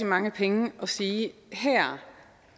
mange penge at sige at her